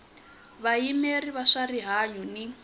vayimeri va swa rihanyu ni